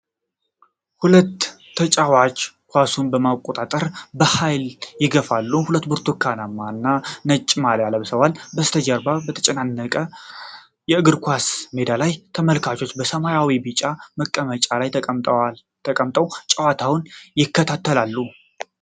ሁለት ተጫዋቾች ኳሱን ለመቆጣጠር በኃይል ይጋፋሉ፤ ሁለቱም ብርቱካናማ እና ነጭ ማልያ ለብሰዋል። በስተጀርባ በተጨናነቀው የእግር ኳስ ሜዳ ላይ ተመልካቾች በሰማያዊና ቢጫ መቀመጫዎች ላይ ተቀምጠው ጨዋታውን ይከታተላሉ።